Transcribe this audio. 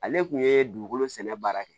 Ale kun ye dugukolo sɛnɛ baara kɛ